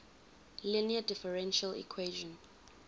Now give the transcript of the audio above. linear differential equation